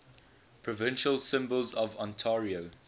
provincial symbols of ontario